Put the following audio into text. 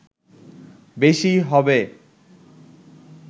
বেশী হবে